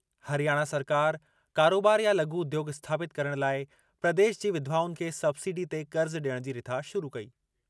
हरियाणा सरकार, कारोबार या लघु उद्योॻ स्थापितु करण लाइ प्रदेश की विधवाउनि खे सबसिडी ते क़र्ज़ ॾियण जी रिथा शुरू कई।